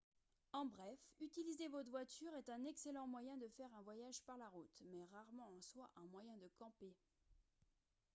en bref utiliser votre voiture est un excellent moyen de faire un voyage par la route mais rarement en soi un moyen de « camper »